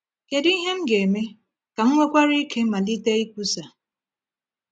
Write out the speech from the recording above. Kedu ihe m ga-eme ka m nwekwara ike malite ikwusa?